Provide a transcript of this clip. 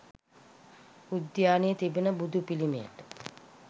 උද්‍යානයේ තිබෙන බුදු පිළිමයට